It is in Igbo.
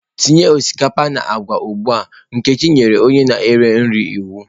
Tinye osikapa na agwa ugbu a! Nkechi nyere onye na-ere nri iwu.